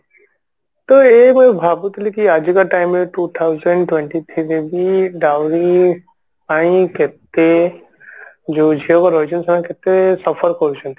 ତ ଏଇ ଯୋଉ ଭାବୁଥିଲି କି ଆଜିକା time ରେ two thousand twenty three ରେ ବି Drawing ପାଇଁ କେତେ ଯୋଉ ଝିଅ ରହିଛନ୍ତି ସେମାନେ କେତେ suffer କରୁଛନ୍ତି